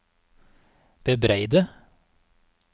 bebreide